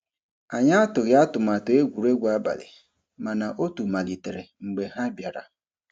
Anyị atụghị atụmatụ egwuregwu abalị, mana otu malitere mgbe ha bịara.